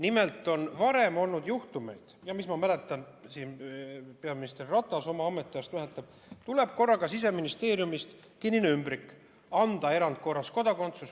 Nimelt on varem olnud juhtumeid, ma ise mäletan ja peaminister Ratas oma ametiajast mäletab, et tuleb Siseministeeriumist kinnine ümbrik: anda erandkorras kodakondsus.